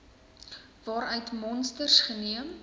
waaruit monsters geneem